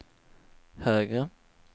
högre